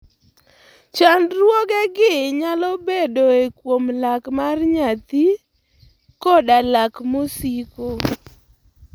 Chandruogegi nyalo bedoe kuom lak mar nyathi koda lak mosiko.